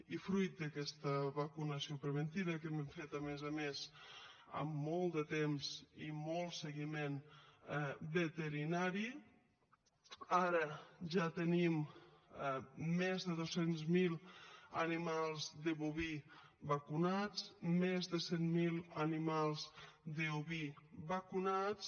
i fruit d’aquesta vacunació preventiva que hem fet a més a més amb molt de temps i molt seguiment veterinari ara ja tenim més de dos cents miler animals de boví vacunats i més de cent miler animals d’oví vacunats